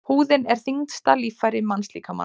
Húðin er þyngsta líffæri mannslíkamans.